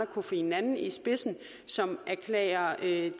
kofi annan i spidsen som erklærer the